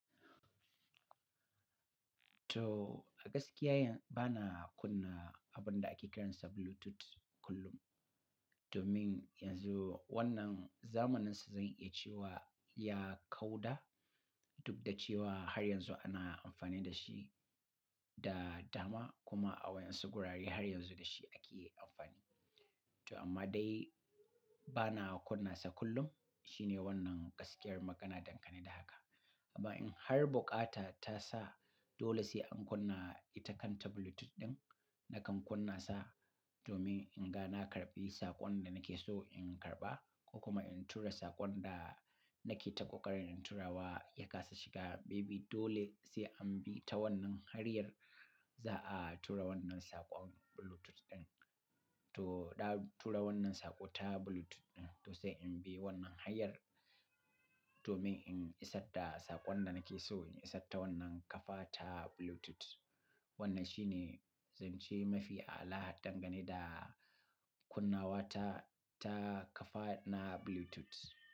To a gaskiya, bana kunna abun da ake kiransa Bluetooth kullum. Domin yanzu wannan zamaninsa zan iya cewa ya kauda, duk da cewa har yanzu ana amfani da shi da dama kuma a waɗansu wurare har yanzu da shi ake amfani. To amma dai bana kunna sa kullum. Shine wannan gaskiyar magana dangane da haka. Amma in har bukata ta sa dole sai an kunna ita kanta Bluetooth ɗin, na kan kunna sa domin in ga na karɓi saƙon da nake so in karɓa ko kuma in tura saƙon da nake ta ƙoƙarin tura wa ya kasa shiga. Maybe dole sai an bi ta wannan hanyar za a tura wannan saƙon Bluetooth ɗin. To dan tura wannan saƙo ta Bluetooth ɗin, to sai in bi wannan hanyar domin in isar da saƙon da nake so in isar ta wannan kafa ta Bluetooth. Wannan shine zance mafi a'ala dangane da kunnawa ta, ta kafa na Bluetooth.